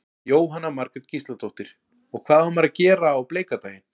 Jóhanna Margrét Gísladóttir: Og hvað á maður að gera á bleika daginn?